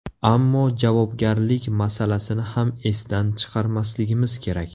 Ammo javobgarlik masalasini ham esdan chiqarmasligimiz kerak.